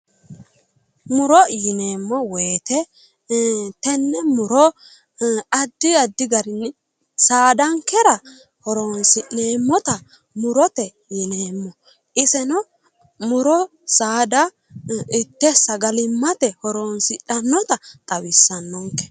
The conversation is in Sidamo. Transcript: Muro yineemo woyiite tenne muro addi addi garinni saadankera horonsi'neemmota murote yineemmo iseno muro saada itte sagalimmate horonsidhannota xawissannonke.